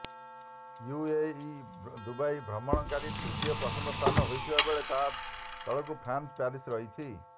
ୟୁଏଇର ଦୁବାଇ ଭ୍ରମଣକାରୀଙ୍କ ତୃତୀୟ ପସନ୍ଦ ସ୍ଥାନ ହୋଇଥିବା ବେଳେ ତା ତଳକୁ ଫ୍ରାନ୍ସର ପ୍ୟାରିସ୍ ରହିଛି